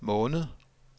måned